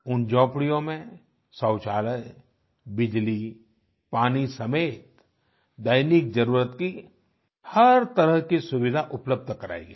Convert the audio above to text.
उन झोपड़ियों में शौचालय बिजलीपानी समेत दैनिक जरुरत की हर तरह की सुविधा उपलब्ध करायी गयी